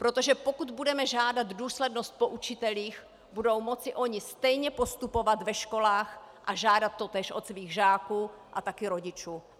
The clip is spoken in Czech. Protože pokud budeme žádat důslednost po učitelích, budou moci oni stejně postupovat ve školách a žádat totéž od svých žáků a také rodičů.